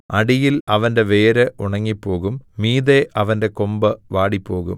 അടിയിൽ അവന്റെ വേര് ഉണങ്ങിപ്പോകും മീതെ അവന്റെ കൊമ്പ് വാടിപ്പോകും